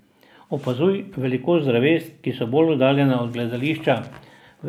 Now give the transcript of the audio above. Opazuj velikost dreves, ki so bolj oddaljena od gledišča.